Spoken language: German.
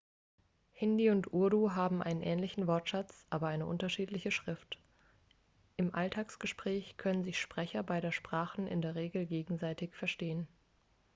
hindi und urdu haben einen ähnlichen wortschatz aber eine unterschiedliche schrift im alltagsgespräch können sich sprecher beider sprachen in der regel gegenseitig verstehen